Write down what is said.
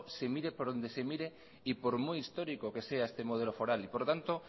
se mire por donde se mire y por muy histórico que sea este modelo foral por lo tanto